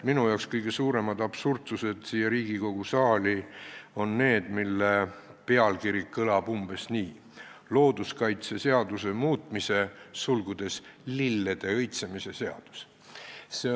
Minu arvates on kõige suuremad absurdsused siin Riigikogu saalis need, mille pealkiri kõlab umbes nii: "Looduskaitseseaduse muutmise seadus".